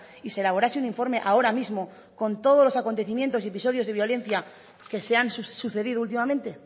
y se elaborase un informe ahora mismo con todos los acontecimientos y episodios de violencia que se han sucedido últimamente